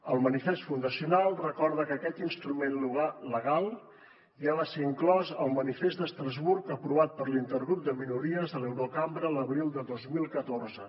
el manifest fundacional recorda que aquest instrument legal ja va ser inclòs al manifest d’estrasburg aprovat per l’intergrup de minories a l’eurocambra l’abril de dos mil catorze